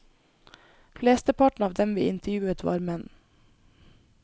Flesteparten av dem vi intervjuet var menn.